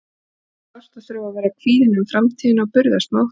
Það er sárt að þurfa að vera kvíðinn um framtíðina og burðast með óttann.